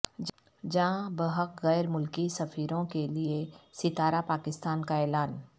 جاں بحق غیر ملکی سفیروں کیلئے ستارہ پاکستان کا اعلان